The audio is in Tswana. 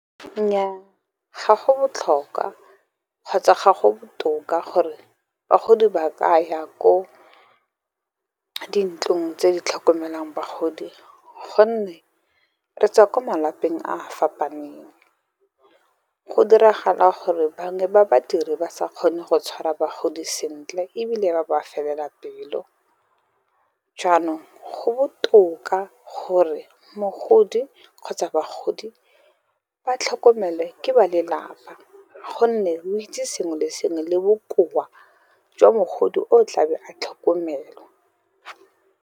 Nnyaa, ga go botlhokwa kgotsa ga go botoka gore bagodi ba ka ya ko dintlong tse di tlhokomelang bagodi, gonne re tswa ko malapeng a a fapaneng. Go diragala gore bangwe ba badiri ba sa kgone go tshwara bagodi sentle, ebile ba ba felela pelo. Jaanong go botoka gore mogodi kgotsa bagodi, ba tlhokomele ke ba lelapa, gonne ba itse sengwe le sengwe le bokoa jwa mogodi o tlabe a tlhokomelwa.